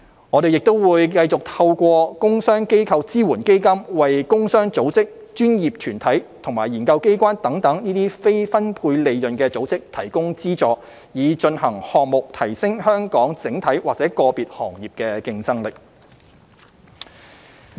我們亦會繼續透過"工商機構支援基金"為工商組織、專業團體及研究機關等非分配利潤組織提供資助，以進行項目提升香港整體或個別行業的競爭力。